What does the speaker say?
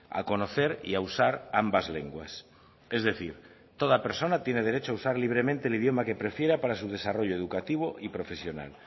a conocer y a usar ambas lenguas es decir toda persona tiene derecho a usar libremente el idioma que prefiera para su desarrollo educativo y profesional